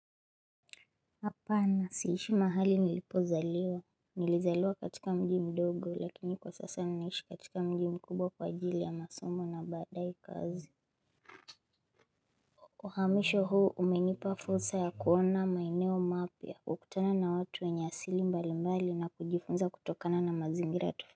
Apana siishi mahali nilipozaliwa Nilizaliwa katika mji mdogo lakini kwa sasa ninaishi katika mji mkubwa kwa ajili ya masomo na baadae kazi Uhamisho huu umenipa fursa ya kuona maeneo mapya wa kutana na watu wenye asili mbali mbali na kujifunza kutokana na mazingira tu.